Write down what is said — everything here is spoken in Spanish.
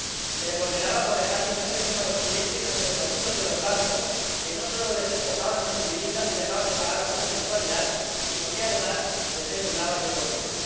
Se le condenaba por dejar indefensos a los clientes ante los abusos de los bancos, que no solo los despojaban de sus viviendas si dejaban de pagar alguna mensualidad, sino que, además, los endeudaban de por vida.